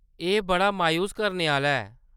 एह्‌‌ बड़ा मायूस करने आह्‌ला ऐ !